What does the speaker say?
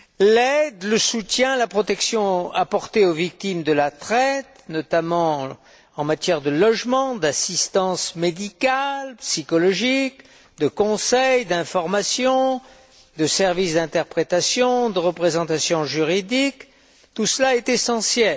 L'aide, le soutien, la protection apportés aux victimes de la traite, notamment en matière de logement, d'assistance médicale, psychologique, de conseil, d'information, de services d'interprétation, de représentation juridique, tout cela est essentiel.